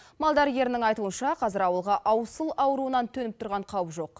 мал дәрігерінің айтуынша қазір ауылға аусыл ауруынан төніп тұрған қауіп жоқ